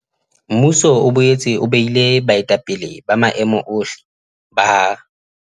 Mmuso o boetse o behile baetapele ba maemo ohle ba ha